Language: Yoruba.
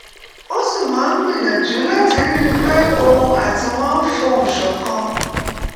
ó sì máa ń gbìyànjú láti rí i pé òun àti wọn fohùn ṣọ̀kan